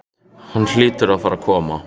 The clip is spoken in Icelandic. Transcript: Hann hlýtur að fara að koma.